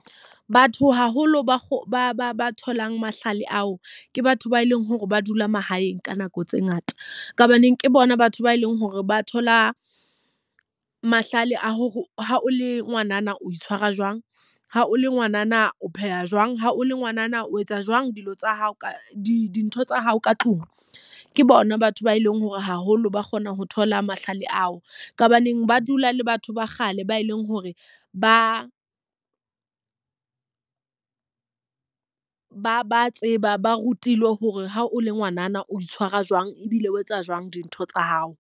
Batho haholo ba tholang mahlale ao, ke batho ba eleng hore ba dula mahaeng ka nako tse ngata. Ka hobaneng ke bona batho ba eleng hore ba thola mahlale a hore ha o le ngwanana o itshwara jwang, ha o le ngwanana o pheha jwang, ha o le ngwanana o etsa jwang dilo tsa hao ka dintho tsa hao ka tlung. Ke bona batho ba eleng hore haholo ba kgona ho thola mahlale ao. Ka hobaneng ba dula le batho ba ba kgale ba e leng hore ba ba ba tseba, ba rutilwe hore ha o le ngwanana o itshwara jwang, ebile o etsa jwang dintho tsa hao.